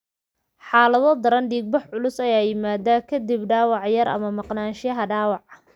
Xaalado daran, dhiig-bax culus ayaa yimaada ka dib dhaawac yar ama maqnaanshaha dhaawac.